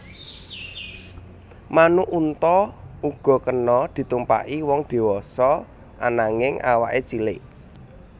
Manuk unta uga kena ditumpaki wong diwasa ananging awaké cilik